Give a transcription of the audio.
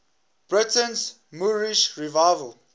britain's moorish revival